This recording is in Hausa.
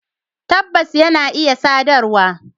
Tabbas, yana iya sadarwa